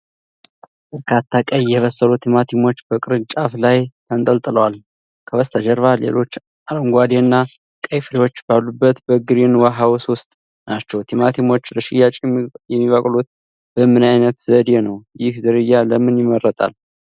በርካታ ቀይ፣ የበሰሉ ቲማቲሞች በቅርንጫፍ ላይ ተንጠልጥለዋል። ከበስተጀርባ ሌሎች አረንጓዴ እና ቀይ ፍሬዎች ባሉበት በግሪን ሃውስ ውስጥ ናቸው። ቲማቲሞች ለሽያጭ የሚበቅሉት በምን ዓይነት ዘዴ ነው? ይህ ዝርያ ለምን ይመረጣል?